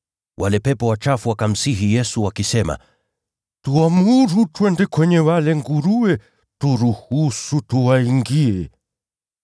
Wale pepo wachafu wakamsihi Yesu wakisema, “Tuamuru twende kwenye wale nguruwe. Turuhusu tuwaingie.”